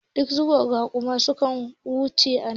Ɗazu raƙuma suka wuce anan